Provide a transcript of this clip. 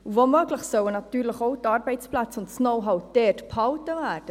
Wo möglich sollen natürlich auch die Arbeitsplätze und das Know-how dortbehalten werden.